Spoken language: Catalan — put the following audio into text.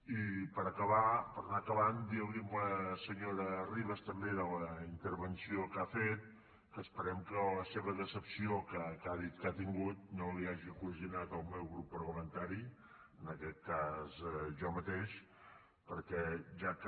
i per acabar per anar acabant dir li a la senyora ribas també de la intervenció que ha fet que esperem que la seva decepció que ha dit que ha tingut no la hi hagi ocasionat el meu grup parlamentari en aquest cas jo mateix perquè ja que